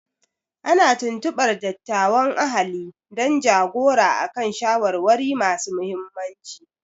Ana tuntubar dattawan ahali don ja-gora a kan shawarwari masu muhimmanci.